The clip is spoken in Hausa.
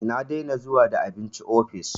Na dena zuwa da abinci ofis